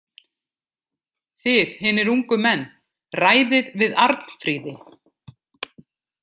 Þið hinir ungu menn ræðið við Arnfríði.